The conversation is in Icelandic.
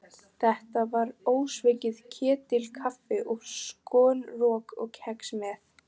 Þetta var ósvikið ketilkaffi og skonrok og kex með.